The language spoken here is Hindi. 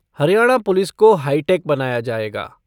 हरियाणा पुलिस को हाईटैक बनाया जाएगा।